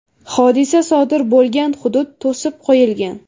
Hodisa sodir bo‘lgan hudud to‘sib qo‘yilgan.